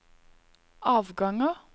avganger